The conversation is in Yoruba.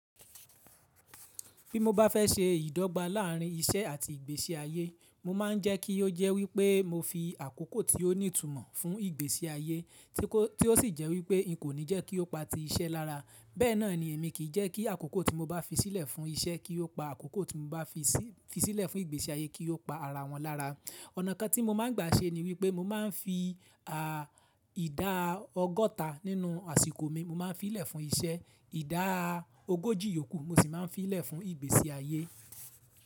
Bí mo bá fẹ́ se ìdọ́gba láàrín iṣẹ́ àti ìgbésí ayé, mo máa ń jẹ́ kí ó jẹ́ wípé mo fi àkókò tí ó ní ìtumọ̀ fún ìgbésí ayé tí ó sì jẹ́ wípé n kò ní jẹ́ kí ó pa ti iṣẹ́ lára. Bẹ́ẹ̀ náà ni èmi kì í jẹ́ kí àkókò tí mo bá fi sílẹ̀ fún iṣẹ́ kí ó pa àkókò tí mo bá fi sílẹ̀ fún ìgbésí ayé kí ó pa ara wọn lára. Ọ̀nà kan tí mo máa ń gbà ṣe ni wípé mo máa ń fi ìdá ọgọ́ta nínú àsìkò mi, mo máa ń fi í lẹ̀ fún iṣẹ́, ìdá ogójì yòókù mo sì máa ń fi í lẹ̀ fún ìgbésí ayé.